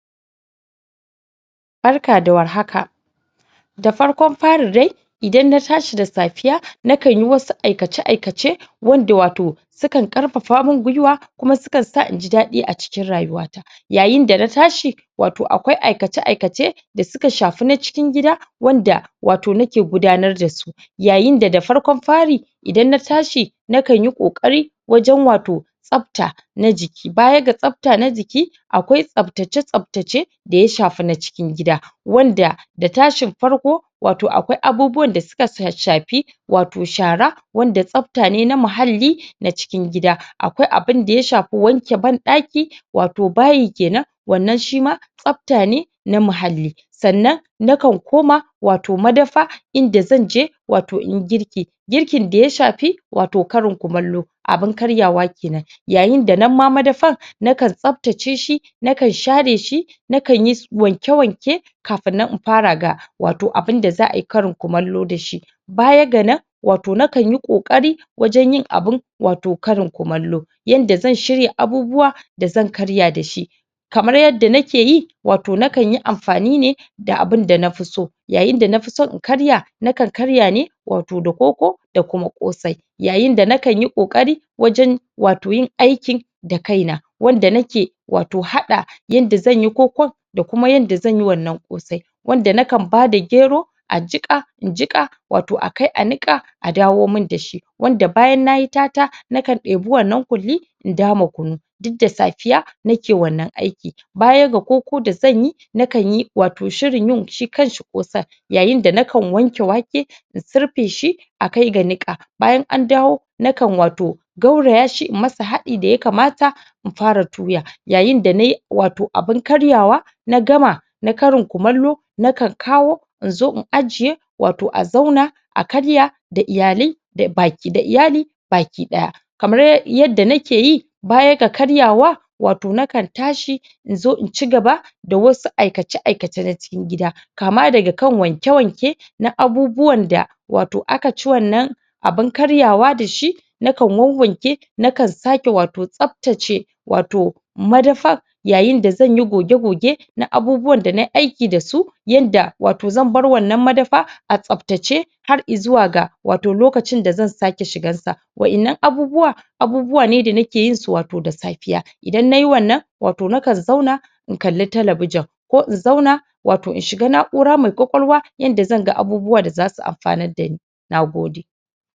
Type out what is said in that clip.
Barka da warhaka. Da farkon fari dai idan na tashi da safiya, nakan yi wasu aikace-aikace wanda wato sukan ƙarfafa mun gwuiwa, kuma su kan sa inji daɗi a cikin rayuwa ta. Yayin da na tashi wato akwai aikace-aikace da suka shafi na cikin gida, wanda wato nake gudanar dasu. Yayi da farkon fari idan na tashi na kan yi ƙoƙari wajan wato tsafta na jiki, baya ga tsafta na jiki akwai tsaftace-tsaftace da ya shafa na cikin gida, wanda da tashin farko wato akwai abubuwan da suka shafi wato shara wanda tsafta ne na muhalli na cikin gida. Akwai abun da ya shafi wanke banɗaki wato bayi kenan, wannan shima tsafta ne na mahalli. Sannan na kan koma wato madafa, inda zanje wato inyi girki, girkin da ya shafi wato karin kumallo, abun karyawa kenan. Yayin da nan ma madafan na kan tsaftace shi, na kan share shi, na kanyi wanke-wanke kafun nan in fara ga wato abun da za ayi karin kumallo da shi. Baya ga nan wato na kanyi ƙoƙari wajen yin abun wato karin kumallo, yanda zan shirya abubuwa da zan karya da shi, kamar yadda nake yi wato na kanyi amfani ne da abun da nafi so. Yayin da nafi so in karya, na kan karya ne wato da koko da kuma ƙosai, yayin da na kanyi ƙoƙari wajen wato yin aikin da kaina, wanda nake wato haɗa yanda zanyi kokon da kuma yanda zanyi wannan ƙosai. Wanda na kan bada gero ajiƙa injinƙa wato a kai a niƙa a dawo mun dashi, wanda bayan nayi tata na kan ɗebi wannan ƙulli in dama kunu, dud da safiya nake wannan aikin. Baya ga koko da zanyi, na kanyi wato shirin yin shi kanshi ƙosan, yayin da nakan wanke wake in surfe shi a kai ga niƙa, bayan an dawo na kan wato gawraya shi in masa haɗi da ya kamata in fara tuya. Yayin da nayi wato abun karyawa na gama na karin kumallo, na kan kawo in zo in ajiye wato a zauna a karya da iyalai da baki da iyali baki ɗaya. Kamar yadda nake yi, baya ga karyawa wato na kan tashi inzo in cigaba da wasu aikace-aikace na cikin gida, kama daga kan wanke-wanke na abubuwan da wato aka ci wannan abun karyawa da shi, na kan wawwanke, na kan sake wato tsaftace wato madafan, yayin da zanyi goge-goge na abubuwan na nai aiki da su, yanda wato zan bar wannan madafa a tsaftace har i'zuwa ga wato lokacin da zan sake shigan sa. Wa'innan abubuwa, abubuwa ne da nake yinsu wato da safiya, idan nayi wannan wato nakan zauna ina kalli talabijin, ko in zauna wato in shiga na'ura mai ƙwaƙwalwa yanda zanga abubuwa da zasu amfanad dani. Nagode.